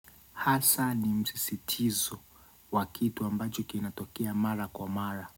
Hasa ni msisitizo, wa kitu ambacho kinatokea mara kwa mara.